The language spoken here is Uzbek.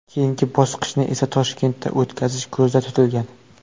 Keyingi bosqichni esa Toshkentda o‘tkazish ko‘zda tutilgan.